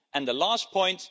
And the last point.